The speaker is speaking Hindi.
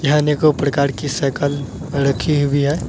यहां अनेकों प्रकार की साइकल रखी हुई है।